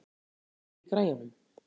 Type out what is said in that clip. Flóvent, hækkaðu í græjunum.